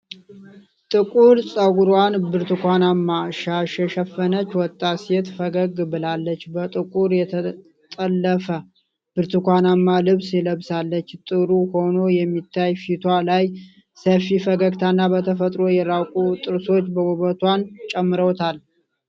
ጥቁር ጸጉሯን በብርቱካናማ ሻሽ የሸፈነች ወጣት ሴት ፈገግ ብላለች። በጥቁር የተጠለፈ ብርቱካናማ ልብስ ለብሳለች። ጥሩ ሆኖ የሚታየው ፊቷ ላይ ሰፊ ፈገግታና በተፈጥሮ የራቁ ጥርሶች ውበቷን ጨምረውታል።